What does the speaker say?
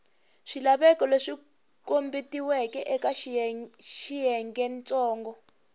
swilaveko leswi kombetiweke eka xiyengentsongo